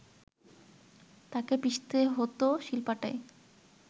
তাকে পিষতে হত শিলপাটায়